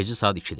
Gecə saat 2-dir.